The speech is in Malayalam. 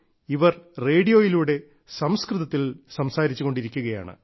ഇവർ റേഡിയോയിലൂടെ സംസ്കൃതത്തിൽ സംസാരിച്ചു കൊണ്ടിരിക്കുകയാണ്